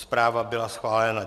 Zpráva byla chválena.